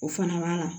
O fana b'a la